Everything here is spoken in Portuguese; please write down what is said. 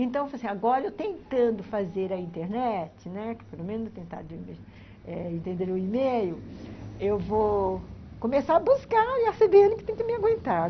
Então, agora eu tentando fazer a internet, né, pelo menos tentar entender o e-mail, eu vou... começar a buscar e a cê bê ene que tem que me aguentar.